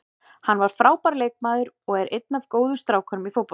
Hann var frábær leikmaður og er einn af góðu strákunum í fótboltanum.